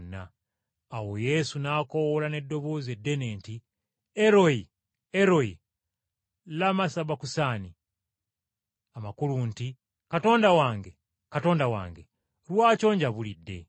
Awo Yesu n’akoowoola n’eddoboozi eddene nti, “Eroi, Eroi, lama, sabakusaani?” Amakulu nti, “Katonda wange, Katonda wange, Lwaki onjabulidde?”